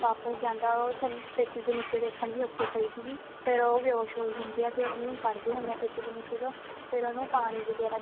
ਵਾਪਿਸ ਜਾਂਦਾ ਉਹ ਥੱਲੇ ਪੇਟੀ ਦੇ ਨਿੱਚੇ ਦੇਖਣ ਲਈ ਉੱਥੇ ਹੀ ਪਈ ਸੀਗੀ ਫਿਰ ਉਹ ਬੇਹੋਸ਼ ਹੋਈ ਹੁੰਦੀ ਆ ਤੇ ਉਹਨੂੰ ਕੱਢ ਦੇ ਹੁਨੇ ਆ ਪੇਟੀ ਦੇ ਨਿੱਚੇ ਤੋਂ ਫਿਰ ਉਹਨੂੰ ਪਾਣੀ ਵਗੈਰਾ